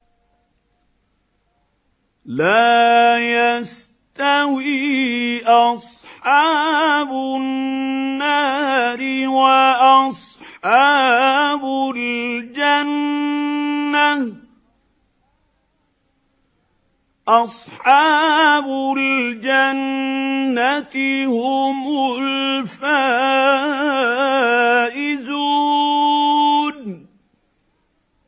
لَا يَسْتَوِي أَصْحَابُ النَّارِ وَأَصْحَابُ الْجَنَّةِ ۚ أَصْحَابُ الْجَنَّةِ هُمُ الْفَائِزُونَ